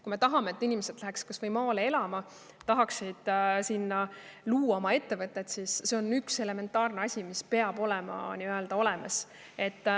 Kui me tahame, et inimesed läheks maale elama, tahaksid seal luua oma ettevõtte, siis elekter on elementaarne asi, mis peab olemas olema.